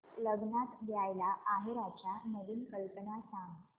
लग्नात द्यायला आहेराच्या नवीन कल्पना सांग